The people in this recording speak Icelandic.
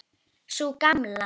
Sú gamla?